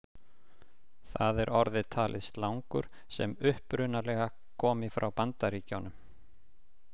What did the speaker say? Þar er orðið talið slangur sem upprunalega komi frá Bandaríkjunum.